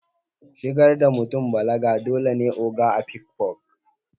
Shigar da mutun balaga dole ne a Ogo a afikfo